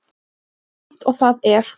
Jafn aumt og það er.